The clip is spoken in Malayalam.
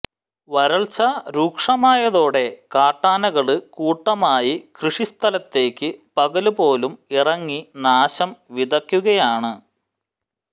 വരള്ച്ച രൂക്ഷമായതോടെ കാട്ടാനകള് കൂട്ടമായി കൃഷി സ്ഥലത്തേക്ക് പകല് പോലും ഇറങ്ങി നാശം വിതക്കുകയാണ്